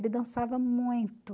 Ele dançava muito.